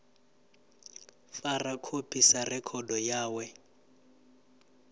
fara khophi sa rekhodo yawe